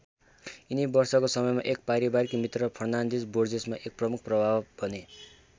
यिनी वर्षको समयमा एक पारिवारिक मित्र फर्नान्डीज बोर्जेसमा एक प्रमुख प्रभाव बने।